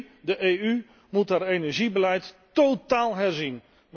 3 De EU moet haar energiebeleid tótáál herzien.